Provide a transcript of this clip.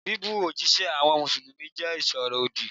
Bíbú òjíṣẹ́ àwọn Mùsùlùmí jẹ́ ìsọ̀rọ̀ òdì.